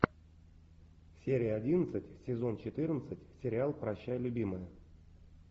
серия одиннадцать сезон четырнадцать сериал прощай любимая